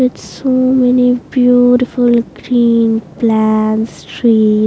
With so many beautiful green plants trees --